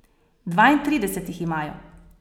Dvaintrideset jih imajo.